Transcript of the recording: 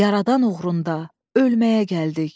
Yaradan uğrunda ölməyə gəldik.